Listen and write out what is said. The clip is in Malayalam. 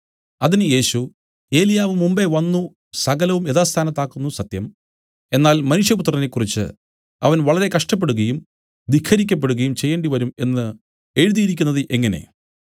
അതിന് യേശു ഏലിയാവ് മുമ്പെ വന്നു സകലവും യഥാസ്ഥാനത്താക്കുന്നു സത്യം എന്നാൽ മനുഷ്യപുത്രനെക്കുറിച്ച് അവൻ വളരെ കഷ്ടപ്പെടുകയും ധിക്കരിക്കപ്പെടുകയും ചെയ്യേണ്ടിവരും എന്നു എഴുതിയിരിക്കുന്നത് എങ്ങനെ